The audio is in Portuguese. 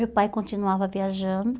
Meu pai continuava viajando.